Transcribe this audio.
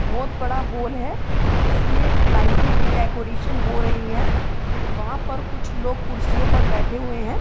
बहुत बड़ा हॉल है। जिसमें लाइटों की डेकोरेशन हो रही है। वहां पर कुछ लोग कुर्सी पर बैठे हुये हैं।